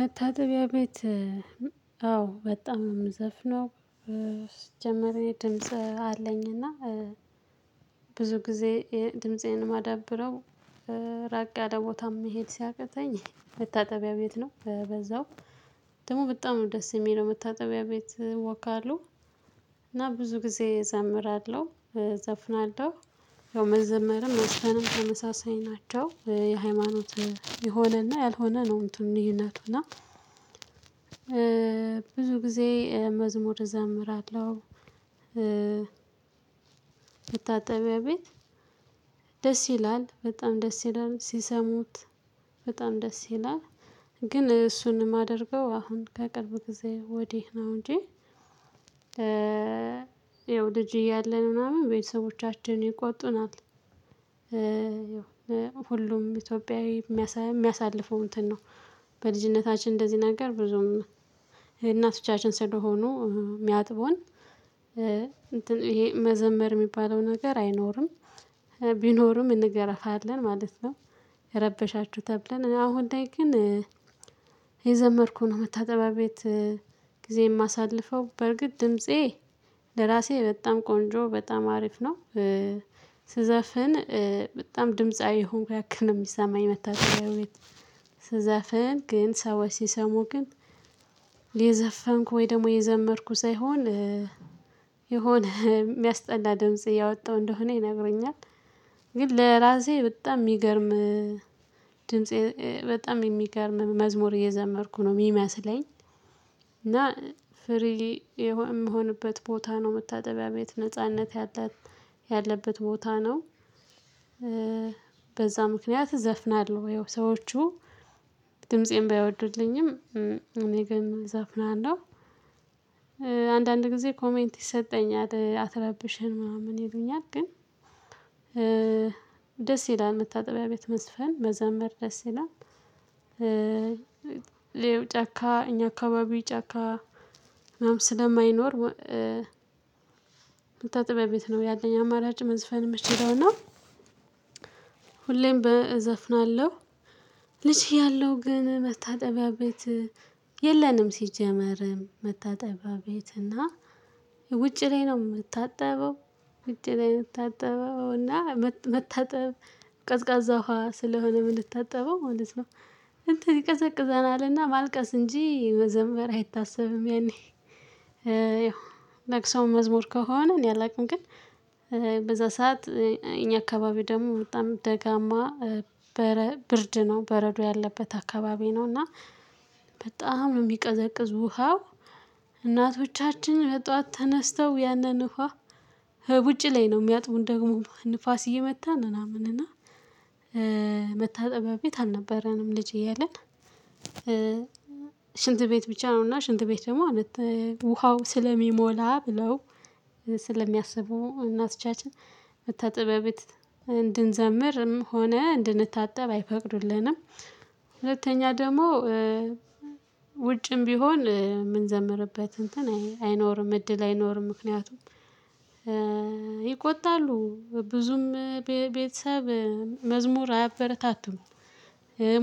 መታጠቢያ ቤት አዎ በጣም የምዘፍነው። ሲጀምር የድምጽ አለኝ እና ብዙ ጊዜ ድምፄን ማዳብረው ራቅ ያለ ቦታም መሄድ ሲያቅተኝ መታጠቢያ ቤት ነው። በዛው ደግሞ በጣም ደስ የሚለው። መታጠቢያ ቤት ወካሉ እና ብዙ ጊዜ እዘምራለሁ፣ እዘፍናለሁ ያው መዘመርም መስፈንም ተመሳሳይ ናቸው። የሃይማኖት የሆነና ያልሆነ ነው እንትኑ ልዩነቱ እና ብዙ ጊዜ መዝሙር እዘምራለሁ መታጠቢያ ቤት ደስ ይላል። በጣም ደስ ይላል። ሲሰሙት በጣም ደስ ይላል። ግን እሱን የማደርገው አሁን ከቅርብ ጊዜ ወዲህ ነው እንጂ ያው ልጅ እያለን ምናምን ቤተሰቦቻችን ይቆጡናል። ሁሉም ኢትዮጵያዊ የሚያሳልፈው እንትን ነው። በልጅነታችን እንደዚህ ነገር ብዙም እናቶቻችን ስለሆኑ ሚሚያጥቡን እንትን ይሄ መዘመር የሚባለው ነገር አይኖርም። ቢኖርም እንገራፋለን ማለት ነው። የረበሻችሁ ተብለን አሁን ላይ ግን እየዘመርኩ ነው መታጠቢያ ቤት። ጊዜ የማሳልፈው በርግጥ ድምፄ ለራሴ በጣም ቆንጆ በጣም አሪፍ ነው። ስዘፍን በጣም ድምጻዊ የሆንኩ ያክል ነው የሚሰማኝ መታችጠቢያ ቤት። ስዘፍን ግን ሰዎች ሲሰሙ ግን የዘፈንኩ ወይ ደግሞ የዘመርኩ ሳይሆን የሆነ የሚያስጠላ ድምጽ እያወጣሁ እንደሆነ ይነግሩኛል። ግን ለራሴ በጣም የሚገርም ድምፄ በጣም የሚገርም መዝሙር እየዘመርኩ ነው የሚመስለኝ እና ፍሪሊ የምሆንበት ቦታ ነው መታጠቢያ ቤት ነጻነት ያለበት ቦታ ነው። በዛ ምክንያት ዘፍናለሁ ወይ ሰዎቹ ድምፄን ባይወዱልኝም እኔ ግን እዘፍናለሁ። አንዳንድ ጊዜ ኮሜንት ይሰጠኛል አትረብሽን ምናምን ይሉኛል። ግን ደስ ይላል መታጠቢያ ቤት መዝፈን፣ መዘምር ደስ ይላል። ሌላው ጫካ እኛ አካባቢ ጫካ ምናምን ስለማይኖር መታጠቢያ ቤት ነው ያለኝ አማራጭ መዝፈን የምችለውና እና ሁሌም በእዘፍናለሁ። ልጅ እያለሁ ግን መታጠቢያ ቤት የለንም ሲጀመር መታጠቢያ ቤት እና ውጪ ላይ ነው የምታጠበው። ውጪ ላይ የምታጠበው እና መታጠብ ቀዝቃዛ ውሃ ስለሆነ ምንታጠበው ማለት ነው እንትን ይቀዘቅዘናልና ማልቀስ እንጂ መዘምበር አይታሰብም። ያኔ ያው ለቅሶም መዝሙር ከሆነ እኔ አላውቅም ግን በዛ ሰዓት እኛ አካባቢ ደግሞ በጣም ደጋማ በረ ብርድ ነው በረዶ ያለበት አካባቢ ነው እና በጣም ነው የሚቀዘቅዝ ውሃው። እናቶቻችን ጧት ተነስተው ያንን ውሃ ውጪ ላይ ነው የሚያጥቡን ደግሞ ንፋስ እየመታን ምናምን እና መታጠቢያ ቤት አልነበረንም። ልጅ እያለን ሽንት ቤት ብቻ ነውና ሽንት ቤት ደግሞ ውሃው ስለሚሞላ ብለው ስለሚያስቡ እናቶቻችን መታጠቢያ ቤት እንድንዘምርም ሆነ እንድንታጠብ አይፈቅዱልንም። ሁለተኛ ደግሞ ውጭም ቢሆን የምንዘምርበት እንትን አይኖርም። እድል አይኖርም ምክንያቱም ይቆጣሉ ብዙም ቤተሰብ መዝሙር አያበረታቱም።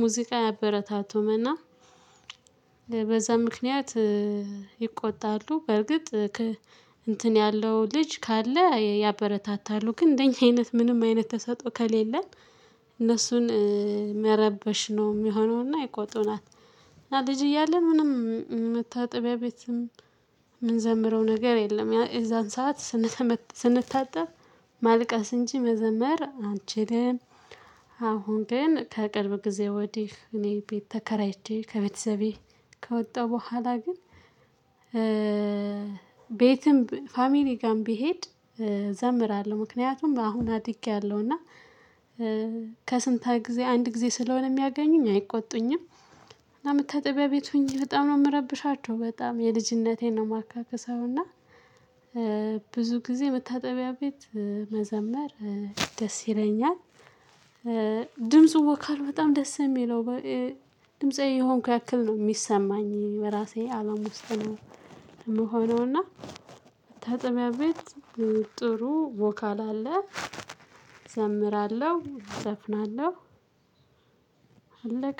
ሙዚቃ አያበረታቱም እና በዛ ምክንያት ይቆጣሉ። በርግጥ እንትን ያለው ልጅ ካለ ያበረታታሉ። ግን እንደኛ አይነት ምንም አይነት ተሰጦ ከሌለን እነሱን መረበሽሽ ነው ሚሆነውና ይቆጡናል። እና ልጅ እያለን ምንም መታጠቢያ ቤትም የምንዘምረው ነገር የለም። የዛን ሰዓት ስንታጠብ ማልቀስ እንጂ መዘመር አንችልም። አሁን ግን ከቅርብ ጊዜ ወዲህ እኔ ቤት ተከራይቼ ከቤተሰቤ ከወጣሁ በኋላ ግን ቤትም ፋሚሊ ጋርም ብሄድ እዘምራለሁ። ምክንያቱም አሁን አድጌያለሁ እና ከስንት አንድ ጊዜ ስለሆነ የሚያገኙኝ አይቆጡኝም። እና መታጠቢያ ቤት ሆኜ በጣም ነው የምረብሻቸው። በጣም የልጅነቴን ነው የማካካሰው እና ብዙ ጊዜ መታጠቢያ ቤት መዘመር ደስ ይለኛል። ድምፁ ቮካሉ በጣም ደስ የሚለው ድምጻዊ የሆንኩ ያክል ነው የሚሰማኝ በራሴ አለም ውስጥ ነው ምሆነውና መታጠቢያ ቤት ጥሩ ቮካል አለ። እዘምራለሁ፣ እዘፍናለሁ አለቀ።